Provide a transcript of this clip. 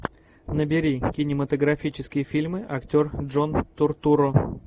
набери кинематографические фильмы актер джон туртурро